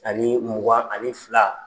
Ani mugan ani fila.